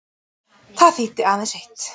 Það þýddi aðeins eitt.